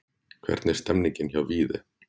Hvernig er stemningin hjá Víði?